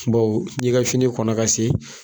Bawo n'i ka fini kɔnna ka se